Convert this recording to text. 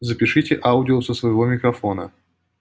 запишите аудио со своего микрофона